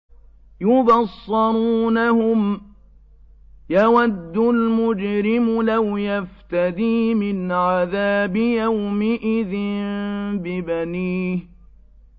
يُبَصَّرُونَهُمْ ۚ يَوَدُّ الْمُجْرِمُ لَوْ يَفْتَدِي مِنْ عَذَابِ يَوْمِئِذٍ بِبَنِيهِ